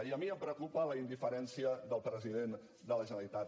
i a mi em preocupa la indiferència del president de la generalitat